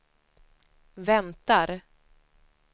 väntar